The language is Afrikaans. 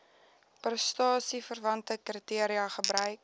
prestasieverwante kriteria gebruik